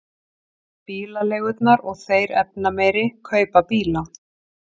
Bílaleigurnar og þeir efnameiri kaupa bíla